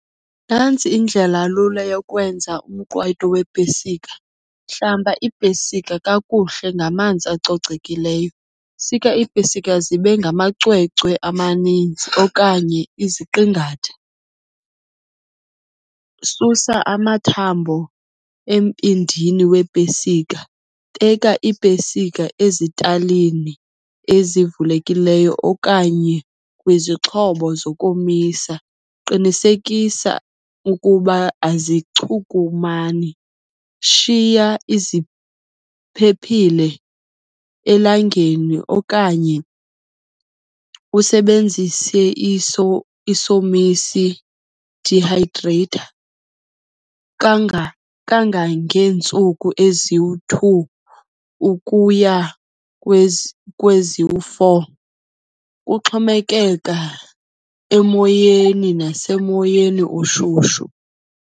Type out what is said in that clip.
Nantsi indlelalula yokwenza umqwayito weepesika. Hlamba iipesika kakuhle ngamanzi acocekileyo. Sika iipesika zibe ngamacwecwe amaninzi okanye iziqingatha. Susa amathambo embindini weepesika. Beka iipesika ezitalini ezivulekileyo okanye kwizixhobo zokomisa. Qinisekisa ukuba azichukumani. Shiya iziphephile elangeni okanye usebenzise isomisi, dehydrator, kangangeentsuku eziyi-two ukuya kweziyi-four. Kuxhomekeka emoyeni nasemoyeni oshushu.